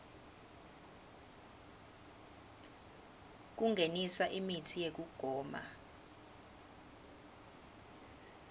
kungenisa imitsi yekugoma